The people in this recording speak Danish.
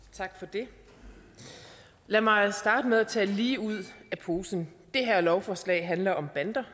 tak for det lad mig starte med at tale lige ud af posen det her lovforslag handler om bander